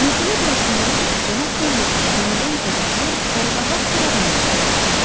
Məsələ burasında idi ki, cənab Pendelton yenidən kədərli, qaraqabaq bir adam olmuşdu.